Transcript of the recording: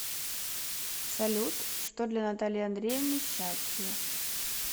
салют что для натальи андреевны счастье